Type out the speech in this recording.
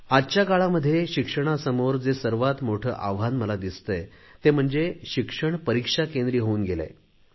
आजच्या काळामध्ये शिक्षणासमोर जे सर्वात मोठे आव्हान मला दिसतेय ते म्हणजे शिक्षण परिक्षाकेंद्री होऊन गेले आहे